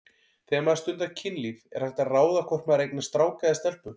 Þegar maður stundar kynlíf er hægt að ráða hvort maður eignast strák eða stelpu?